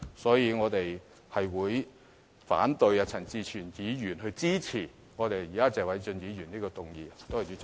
因此，我們會反對陳志全議員的議案，而支持謝偉俊議員現時的議案。